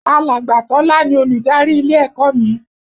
Alàgbà Tọ́lá ni Olùdarí ilé ẹ̀kọ́ mi